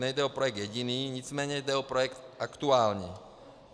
Nejde o projekt jediný, nicméně jde o projekt aktuální.